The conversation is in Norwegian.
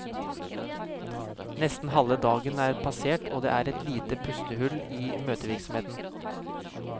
Nesten halve dagen er passert, og det er et lite pustehull i møtevirksomheten.